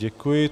Děkuji.